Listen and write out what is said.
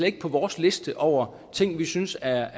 ikke på vores liste over ting vi synes er